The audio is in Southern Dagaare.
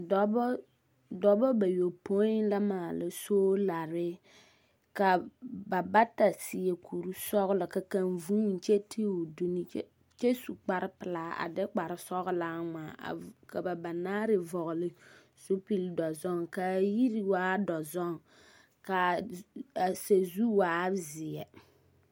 Dɔbɔ, dɔbɔ bayopõi la maala soolare ka ba bata seɛ kuri sɔgelɔ ka kaŋ vuuni ky ti o duni kyɛ, kyɛ su kpare pelaa a de kpare sɔgelaa ŋmaa a vv, ka ba banaare vɔgele zupili dɔzɔŋ ka a yiri waa dɔzɔŋ ka sazu waa zeɛ.